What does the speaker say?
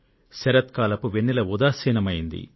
శరత్ కాల చంద్రిక ఉదాసీనంగా రగిలింది